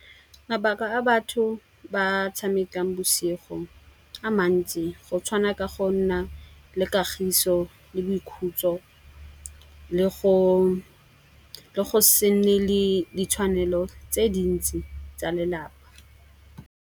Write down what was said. Mabaka a batho ba tshamekang bosigo a mantsi go tshwana ka go nna le kagiso le boikhutso le go se nne le ditshwanelo tse dintsi tsa lelapa.